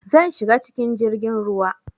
Zan shiga cikin jirgin ruwa